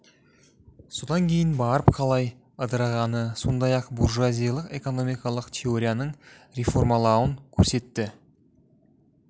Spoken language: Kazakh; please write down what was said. содан кейін барып қалай ыдырағаны сондай-ақ буржуазиялық экономиялық теорияның реформалануын көрсетті